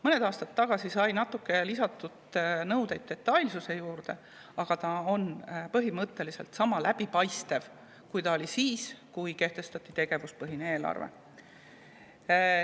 Mõni aastat tagasi sai natuke lisatud detailsusnõudeid, aga on põhimõtteliselt sama läbipaistev, kui ta oli siis, kui kehtestati tegevuspõhine eelarve.